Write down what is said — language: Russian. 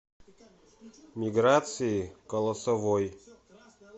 миграции колосовой